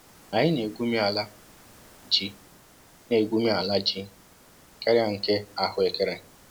Anyị na-égwumi ala ji na-égwumi ala ji karịa nke ahụekere